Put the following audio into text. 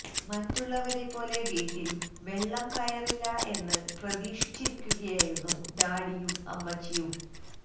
മറ്റുള്ളവരെപ്പോലെ വീട്ടില് വെള്ളം കയറില്ല എന്ന് പ്രതീക്ഷിച്ചിരിക്കുകയായിരുന്നു ഡാഡിയും അമ്മച്ചിയും